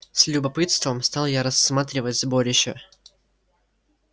с любопытством стал я рассматривать сборище